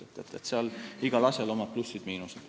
Nii et igal asjal on oma plussid ja miinused.